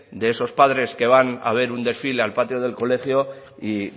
de esos padres que van a ver un desfile al patio del colegio y